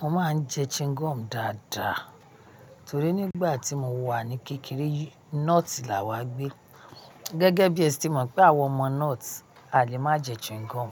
Mo máa ń jẹ chewing gum dáadáa torí nígbà tí mo wà ní kékeré North là wá gbé. Gẹ́gẹ́ bí ẹ ti mọ̀ pé àwọn ọmọ North a lè má jẹ chewing gum.